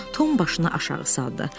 Tom başını aşağı saldı.